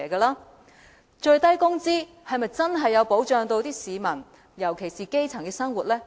那最低工資是否真的保障了市民，尤其是基層的生活呢？